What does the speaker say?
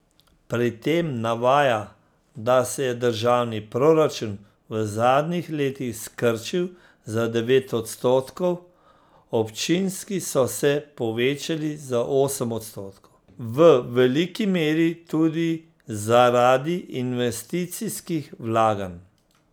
Pri tem navaja, da se je državni proračun v zadnjih letih skrčil za devet odstotkov, občinski so se povečali za osem odstotkov, v veliki meri tudi zaradi investicijskih vlaganj.